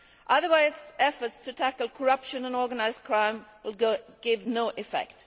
Otherwise, efforts to tackle corruption and organised crime will have no effect.